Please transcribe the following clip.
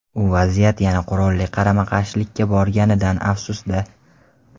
U vaziyat yana qurolli qarama-qarshilikka borganidan afsusda.